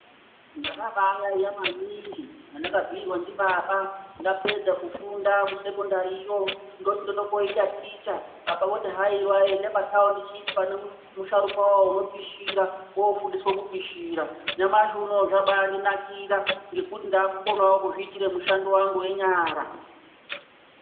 Ndakabaayaeya maningi pandakabhiirwa ndibaba ndapedza kufunda kusekondariyo ndoti ndode kooita ticha baba voti haiwa enda pataundishipi pane musharukwawo unopishira woofundiswa kupishira, nyamashi unowu zvabaa ndinakira ngekuti ndakukonawo kuzviitire mushando wangu wenyara.